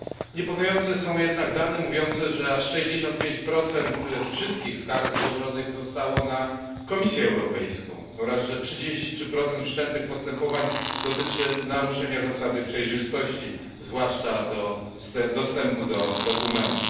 Niepokojące są jednak dane mówiące, że aż 65 wszystkich skarg złożonych zostało na Komisję Europejską oraz że 33 wszczętych postępowań dotyczy naruszenia zasady przejrzystości, zwłaszcza dostępu do dokumentów.